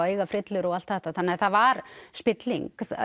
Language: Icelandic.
eiga frillur og allt þetta þannig að það var spilling